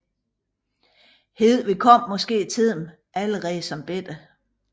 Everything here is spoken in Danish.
Hedvig kom måske til dem allerede som lille